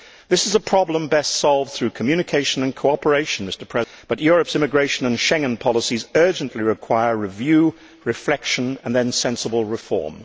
This is a problem best solved through communication and cooperation, but Europe's immigration and Schengen policies urgently require review, reflection and then sensible reform.